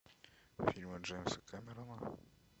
фильмы джеймса кэмерона